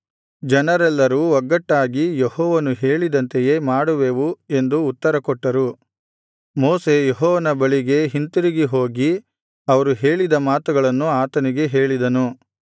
ಜನರೆಲ್ಲರೂ ಒಗ್ಗಟ್ಟಾಗಿ ಯೆಹೋವನು ಹೇಳಿದಂತೆಯೇ ಮಾಡುವೆವು ಎಂದು ಉತ್ತರಕೊಟ್ಟರು ಮೋಶೆ ಯೆಹೋವನ ಬಳಿಗೆ ಹಿಂತಿರುಗಿ ಹೋಗಿ ಅವರು ಹೇಳಿದ ಮಾತುಗಳನ್ನು ಆತನಿಗೆ ಹೇಳಿದನು